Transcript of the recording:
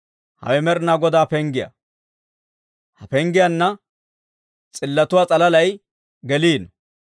Hawe Med'inaa Godaa penggiyaa; ha penggiyaanna s'illotuwaa s'alalay geliino.